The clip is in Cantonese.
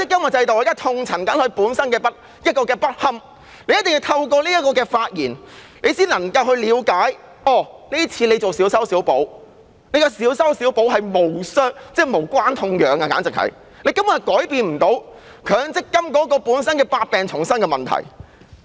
我現在正痛陳強積金制度的不堪，市民一定要透過我的發言，才能夠了解政府這次進行的小修小補簡直是無關痛癢，根本無法改變強積金制度本身百病叢生的問題。